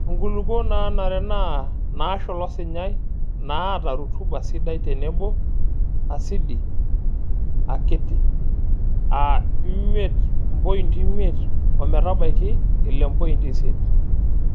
Nkulukuok naanare naa naashula osinyai naaata rutuba sidai tenebo asidi akiti aa imiet mpointi imiet ometabaiki ile mpoiti isiet.